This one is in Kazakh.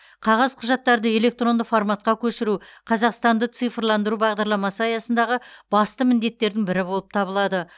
қағаз құжаттарды электронды форматқа көшіру қазақстанды цифрландыру бағдарламасы аясындағы басты міндеттердің бірі болып табылады